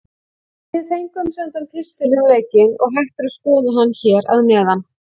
Við fengum sendan pistil um leikinn og hægt er að skoða hann hér að neðan.